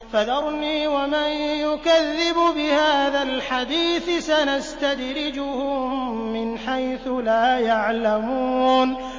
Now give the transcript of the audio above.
فَذَرْنِي وَمَن يُكَذِّبُ بِهَٰذَا الْحَدِيثِ ۖ سَنَسْتَدْرِجُهُم مِّنْ حَيْثُ لَا يَعْلَمُونَ